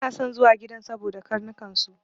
Bana son zuwa gidan saboda karnukan su.